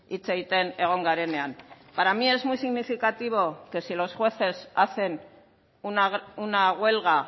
hitz egiten egon garenean para mí es muy significativo que si los jueces hacen una huelga